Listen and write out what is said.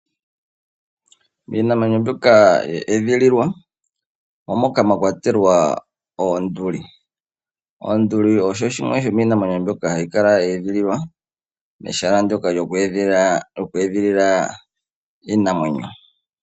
Iinamwenyo mbyoka ya edhililwa omo moka mwakwatelwa oonduli. Oonduli odho dhimwe dhomiinamwenyo mbyoka hayi kala ya edhililwa mehala ndyoka lyoku edhilila iinamwenyo.